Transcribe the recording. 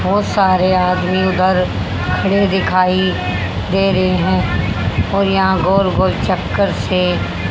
बहुत सारे आदमी उधर खड़े दिखाई दे रहे हैं और यह गोल-गोल चक्कर से --